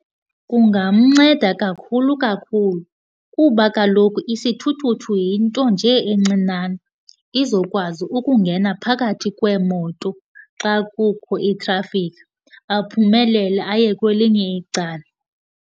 Kungamnceda kakhulu kakhulu, kuba kaloku isithuthuthu yinto nje encinane, izokwazi ukungena phakathi kweemoto xa kukho itrafikhi, aphumelele aye kwelinye icala.